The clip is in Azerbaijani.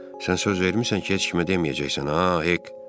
Sən söz vermisən ki, heç kimə deməyəcəksən ha, Hek?